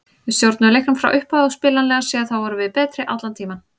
Við stjórnuðum leiknum frá upphafi og spilanlega séð þá vorum við betri allan tímann.